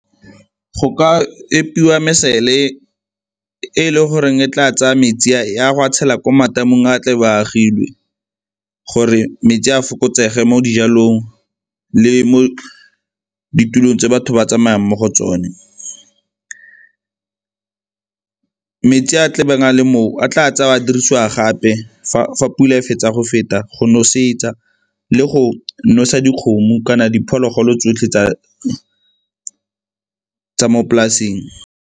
Go ka epiwa mesele e e le goreng e tla tsaya metsi a ya go a tshela ko matamong a a tle ba a agilwe, gore metsi a fokotsege mo dijalong le mo ditulong tse batho ba tsamayang mo go tsone. Metsi a a tlabeng a le moo a tla tsewa a dirisiwa gape fa pula e fetsa go feta go nosetsa le go nosa dikgomo kana diphologolo tsotlhe tsa mo polaseng.